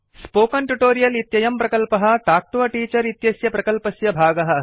spoken tutorial इत्ययं प्रकल्पः talk to a teacher इत्यस्य प्रकल्पस्य भागः अस्ति